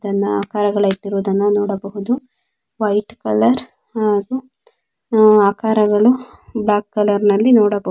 ತನ್ನ ಆಕಾರಗಳನ್ನ ಇಟ್ಟಿರುವುದನ್ನು ನೋಡಬಹುದು. ವೈಟ್ ವೈಟ್ ಕಲರ್ ಹಾಗೂ ಡಾರ್ಕ್ ಕಲರ್ ನಲ್ಲಿ ನೋಡಬಹುದು.